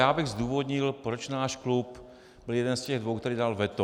Já bych zdůvodnil, proč náš klub je jeden z těch dvou, který dal veto.